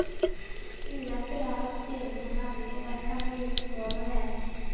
Ulempen er at styringen av byen lett kan bli uten mål og mening.